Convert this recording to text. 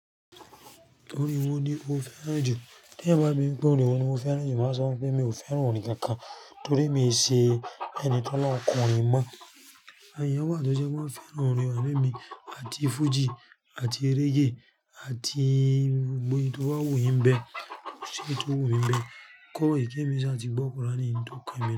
Oorín wọ́ ní ó fẹ́ràn ju. Tí ẹ̀yan bá bí mi pé, oorín wọ́ ní mo fẹ́ràn ju, màá sọ fún ẹ pé mi ò fẹ́ràn orin kankan torí mi ò ṣe ẹni tí ọlọ́run kọ orin mọ́. Àwon eyàn wà tó ṣe pé wọ́n fẹ́ràn orin àmo èmi àti fújì àti reggae àti gbogbo èyi tò ba wu yíń n bẹ, ko ṣi eyi tó wu mí n bẹ́ẹ̀? Kọ́ ìkẹ́ mi sí àti gbọ́ kùránì ni ohun tó kan emi o.